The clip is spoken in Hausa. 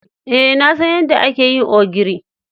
Eh, na san yadda ake yin ogiri.